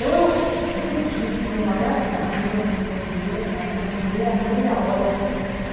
Então, assim, eu sempre digo que o meu maior desafio é no meu primeira na minha primeira meia hora de curso.